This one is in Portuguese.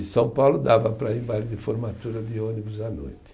E São Paulo dava para ir em baile de formatura de ônibus à noite.